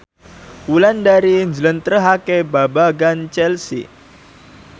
Wulandari njlentrehake babagan Chelsea